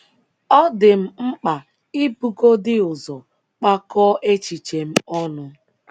Ọ dị m mkpa ibugodị ụzọ kpakọọ echiche m ọnụ! ’